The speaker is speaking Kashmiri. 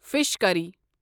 فِش کری